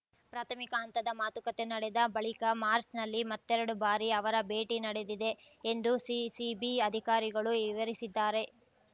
ಪ್ರಾಥಮಿಕ ಹಂತದ ಮಾತುಕತೆ ನಡೆದ ಬಳಿಕ ಮಾಚ್‌ರ್‍ನಲ್ಲಿ ಮತ್ತೆರಡು ಬಾರಿ ಅವರ ಭೇಟಿ ನಡೆದಿದೆ ಎಂದು ಸಿಸಿಬಿ ಅಧಿಕಾರಿಗಳು ವಿವರಿಸಿದ್ದಾರೆ